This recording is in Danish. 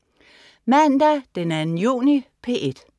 Mandag den 2. juni - P1: